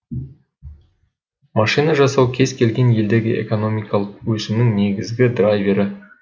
машина жасау кез келген елдегі экономикалық өсімнің негізгі драйвері